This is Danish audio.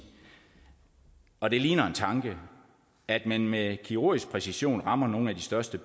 og det ligner en tanke at man med kirurgisk præcision rammer nogle af de største